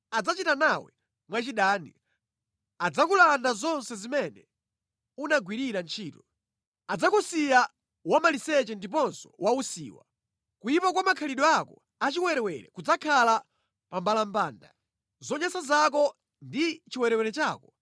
Adzachita nawe mwachidani. Adzakulanda zonse zimene unagwirira ntchito. Adzakusiya wamaliseche ndiponso wausiwa. Kuyipa kwa makhalidwe ako achiwerewere kudzakhala pammbalambanda. Zonyansa zako ndi chiwerewere chako,